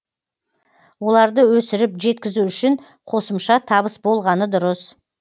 оларды өсіріп жеткізу үшін қосымша табыс болғаны дұрыс